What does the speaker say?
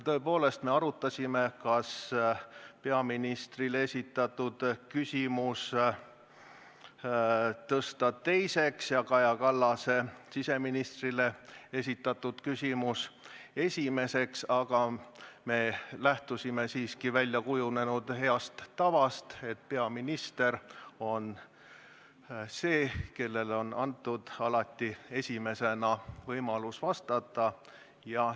Tõepoolest, me arutasime, kas tõsta peaministrile esitatav küsimus teiseks ja Kaja Kallase küsimus siseministrile esimeseks, aga me lähtusime siiski väljakujunenud heast tavast, et peaministril on alati võimalus esimesena vastata.